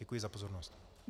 Děkuji za pozornost.